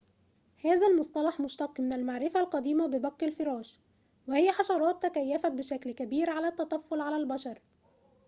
هذا المصطلح مشتق من المعرفة القديمة ببق الفراش وهي حشرات تكيفت بشكل كبير على التطفل على البشر